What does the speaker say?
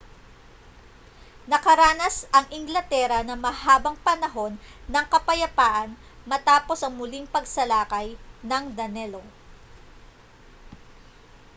nakaranas ang inglatera ng mahabang panahon ng kapayapaan matapos ang muling pagsalakay ng danelaw